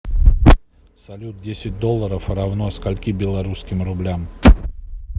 салют десять долларов равно скольки белорусским рублям